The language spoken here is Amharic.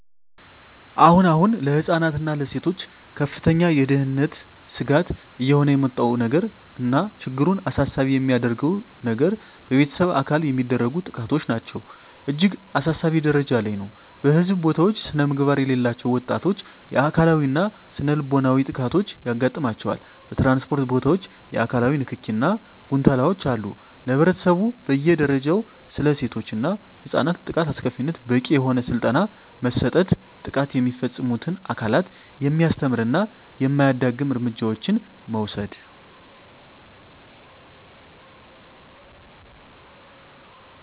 አሁን አሁን ለህፃናት እና ለሴቶች ከፍተኛ የደህንነት ስጋት እየሆነ የመጣው ነገር እና ችግሩን አሳሳቢ የሚያደርገው የገር በቤተሰብ አካል የሚደረጉ ጥቃቶች ናቸው እጅግ አሳሳቢ ጀረጃ ላይ ነው በህዝብ ቦታውች ስነምግባር የሌላቸው ወጣቶች የአካላዊ እና ስነልቦናዊ ጥቃቶች ያጋጥማቸዋል በትራንስፖርት ቦታወች የአካላዊ ንክኪ እና ጉንተላወች አሉ ለህብረተሰቡ በየ ደረጃው ስለሴቶች እና ህፃናት ጥቃት አስከፊነት በቂ የሆነ ስልጠና መስጠት ጥቃት የሚፈፅሙትን አካላት የሚያስተምር እና የማያዳግም እርምጃዎችን መውሰድ።